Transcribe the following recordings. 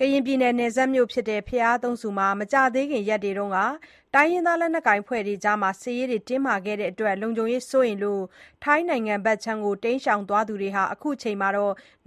ကရင်ပြည်နယ် နယ်စပ်မြို့ဖြစ်တဲ့ ဘုရားသုံးဆူမှာ မကြာသေးခင်ရက်က တိုင်းရင်းသား လက်နက်ကိုင် အဖွဲ့တွေကြား စစ်ရေးတင်းမာခဲ့ရာက လုံခြုံရေးစိုးရိမ်မှုကြောင့် ထိုင်းနိုင်ငံဘက် တိမ်းရှောင်သွားသူတွေ အခုအခါ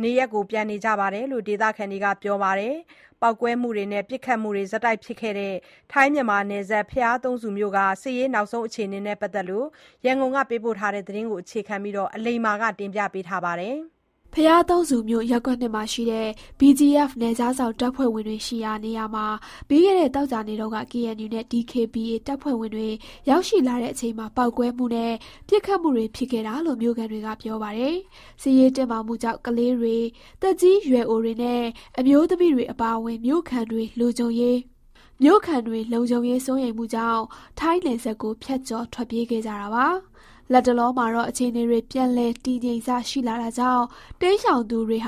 နေရပ်ပြန်နေကြပြီလို့ ဒေသခံတွေက ပြောပါတယ်။ ပေါက်ကွဲမှုနဲ့ ပစ်ခတ်မှုတွေ ဖြစ်ခဲ့တဲ့ ထိုင်း-မြန်မာနယ်စပ် ဘုရားသုံးဆူမြို့က နောက်ဆုံးအခြေအနေနဲ့ ပတ်သက်လို့ ရန်ကုန်က သတင်းပေးပို့ ထားတာကို အခြေခံပြီး အလိမ္မာ တင်ပြထားပါတယ်။ ဘုရားသုံးဆူမြို့ ရပ်ကွက်(၂)မှာရှိတဲ့ BGF နယ်ခြားစောင့် တပ်ဖွဲ့ဝင်တွေရှိရာ နေရာမှာ ပြီးခဲ့တဲ့ သောကြာနေ့တုန်းက KNU နဲ့ DKBA တပ်ဖွဲ့ဝင်တွေ ရောက်ရှိလာတဲ့အချိန် ပေါက်ကွဲမှုနဲ့ ပစ်ခတ်မှုတွေ ဖြစ်ခဲ့တာလို့ မြို့ခံတွေက ပြောပါတယ်။ စစ်ရေးတင်းမာမှုကြောင့် ကလေးတွေ၊ သက်ကြီးရွယ်အိုတွေနဲ့ အမျိုးသမီးတွေ အပါအဝင် မြို့ခံတွေ လုံခြုံရေး စိုးရိမ်မှုကြောင့် ထိုင်းနယ်စပ်ကို ဖြတ်ကျော် ထွက်ပြေးခဲ့ကြတာပါ။ လတ်တလောမှာတော့ အခြေအနေတွေ ပြန်လည်တည်ငြိမ်စ ရှိလာတာကြောင့် တိမ်းရှောင်သူတွေ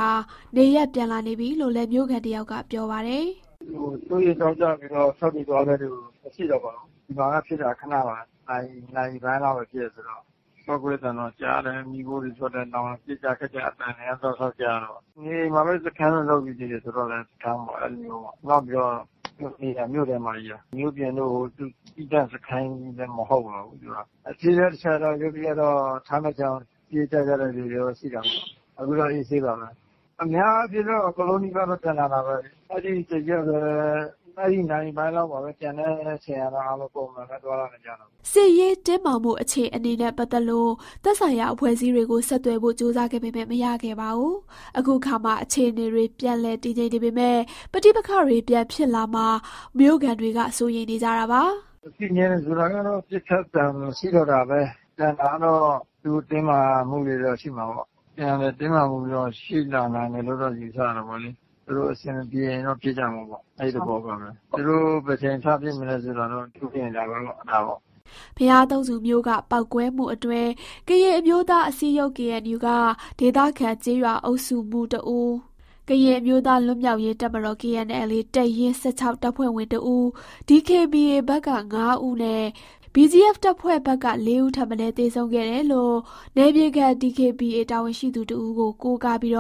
နေရပ်ပြန်လာနေပြီလို့လည်း မြို့ခံတယောက်က ပြောပါတယ်။ “စိုးရိမ်ကြောက်လန့်ပြီးတော့ ထွက်ပြေးသွားတဲ့သူ ရှိတာပေ့ါ။ ဒီမှာက ဖြစ်တာခဏပါပဲ နာရီပိုင်လောက်ပဲဖြစ်တယ်ဆိုတော့၊ ပေါက်ကွဲသံတွေကြားတယ် မီးခိုတွေထွက်တယ် နောက်တော့ ပစ်ကြခတ်ကြ အသံတွေက တော်တော်ကြားတာပေါ့။ (BGF)က နေအိမ်မှာပဲ စခန်းလုပ်ထားတယ်ဆိုတော့လည်း စခန်းပေါ့ အဲ့လိုမျိုး၊ နောက်ပြီးတော့ ဒီဟာက မြို့ထဲမှာကြီး မြို့ပြင်တို့ သူသီးသန့်စခန်းလည်း မဟုတ်ပါဘူး။ အဲ့ဖြစ်တဲ့ တချက်တော့ ရုတ်တရက်တော့ ထိုင်းဖက်ခြမ်းကို ပြေးကြတဲ့လူတာ့ ရှိတာပေါ့နော်၊ အခုတော့ အေးအေးဆေးဆေးပါပဲ။ အများအားဖြင့်တော့ အကုန်လုံးနီးပါးက ပြန်လာတာပဲလေ။ အဲ့ဒီတစ်ရက်ပဲ အဲ့ဒီနာရီပိုင်းလောက်ပါပဲ ကျန်တဲ့ အချိန်တွေအားလုံး ပုံမှန်ပဲ သွားလာနေကြတာပဲ။” စစ်ရေးတင်းမာမှု အခြေအနေနဲ့ ပတ်သက်လို့ သက်ဆိုင်ရာ အဖွဲ့အစည်းတွေကို ဆက်သွယ်ဖို့ ကြိုးစားပေမဲ့ မရခဲ့ပါဘူး။ အခုအခါ အခြေအနေတွေ ပြန်လည်တည်ငြိမ်နေပေမဲ့ ပဋိပက္ခတွေ ပြန်ဖြစ်လာမှာ မြို့ခံတွေက စိုးရိမ်နေကြတာပါ။ “တည်ငြိမ်တယ်ဆိုတာက ပစ်ခတ်သံမရှိတော့တာပဲ။ ကျန်တာကတော့ သူတို့ တင်းမာမှုတွေတော့ ရှိမှာပေါ့။ ပြန်လည်တင်းမာမှုတော့ ရှိလာနိုင်တယ်လို့ ယူဆရတာပေါ့လေ။ သူတို့အဆင်မပြေရင်တော့ ဖြစ်ကြမှာပေါ့ အဲ့သဘောပါပဲ။ သူတို့ ဘယ်အချိန်ထဖြစ်မလဲဆိုတာတော့ သူတို့ဖြစ်ရင်ဒါပဲပေါ့ ဒါပေါ့။” ဘုရားသုံးဆူမြို့က ပေါက်ကွဲမှုအတွင်း ကရင်အမျိုးသားအစည်းအရုံး KNU က ဒေသခံ ကျေးရွာအုပ်စုမှူး တစ်ဦး၊ ကရင်အမျိုးသားလွတ်မြောက်ရေး တပ်မတော်(KNLA) တပ်ရင်း(၁၆) တပ်ဖွဲ့ဝင်တစ်ဦး၊ DKBA ဘက်က ၅ဦးနဲ့ BGF တပ်ဖွဲ့ဘက်က ၄ဦး ထက်မနည်း သေဆုံးခဲ့တယ်လို့ နယ်မြေခံ DKBA တာဝန်ရှိသူတဦးကို ကိုးကားပြီး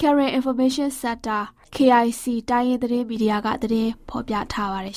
Karen Information Center-KIC တိုင်းရင်းသတင်းမီဒီယာက သတင်းဖော်ပြထားပါတယ်